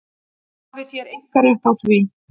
Hafið þér einkarétt á því?